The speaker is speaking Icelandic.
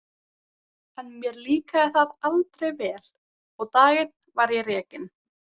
En mér líkaði það aldrei vel og dag einn var ég rekinn.